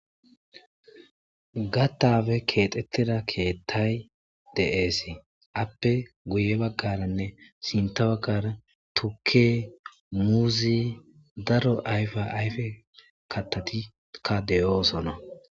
gattappe keexettida keettay de'ees appe guye baggaranne sinta baggara tukke muuzi daro ayfa ayfe kattatikka deyoosona